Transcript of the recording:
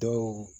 Dɔw